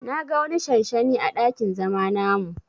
Na ga wani shanshani à dakin zama namu.